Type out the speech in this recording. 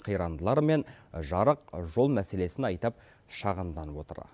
қирандылары мен жарық жол мәселесін айтып шағымданып отыр